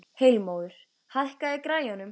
Heilmóður, hækkaðu í græjunum.